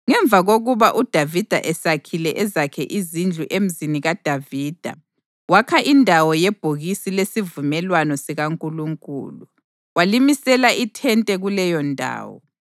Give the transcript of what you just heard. Ngemva kokuba uDavida esakhile ezakhe izindlu eMzini kaDavida, wakha indawo yebhokisi lesivumelwano sikaNkulunkulu, walimisela ithente kuleyondawo.